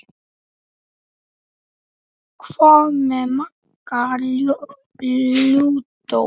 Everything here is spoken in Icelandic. Hvað með Magga lúdó?